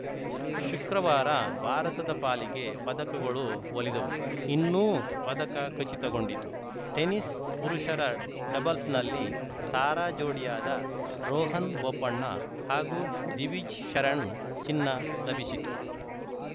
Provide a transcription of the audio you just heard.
ಶುಕ್ರವಾರ ಭಾರತದ ಪಾಲಿಗೆ ಪದಕಗಳು ಒಲಿದವು ಇನ್ನೂ ಪದಕ ಖಚಿತಗೊಂಡಿತು ಟೆನಿಸ್‌ ಪುರುಷರ ಡಬಲ್ಸ್‌ನಲ್ಲಿ ತಾರಾ ಜೋಡಿಯಾದ ರೋಹನ್‌ ಬೋಪಣ್ಣ ಹಾಗೂ ದಿವಿಜ್‌ ಶರಣ್‌ ಚಿನ್ನ ಲಭಿಸಿತು